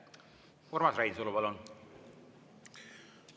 Urmas Reinsalu, palun!